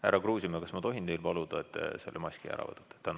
Härra Kruusimäe, kas ma tohin paluda, et te selle maski eest ära võtaksite?